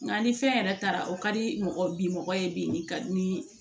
Nka ni fɛn yɛrɛ taara o ka di mɔgɔ bi mɔgɔ ye bi ka ni